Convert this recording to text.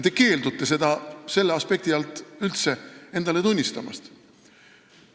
Te keeldute seda selle aspekti alt aga üldse endale tunnistamast.